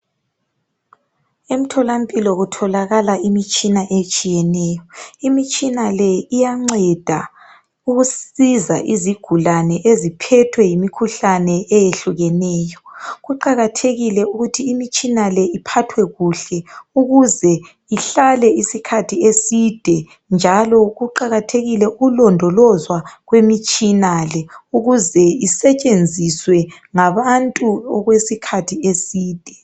Emtholampilo kutholakala imitshina etshiyeneyo. Imtshina le iyanceda ukusiza izigulane eziphethwe yimikhuhlane eyehlukeneyo. Kuqakathekile ukuthi imitshina le iphathwe kuhle ukuze ihlale isikhathi eside njalo kuqakathekile ukulondolozwa kwemitshina le ukuze isetshenziswe ngabantu okwesikhathi eside.